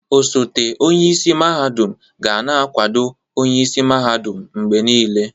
Ọsote onyeisi mahadum ga na-akwado onye isi mahadum mgbe niile.